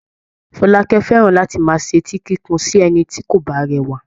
Fọlákẹ́ fẹ́ràn láti máa ṣetí kíkun sí ẹnikẹ́ni tí kò bá rẹwà.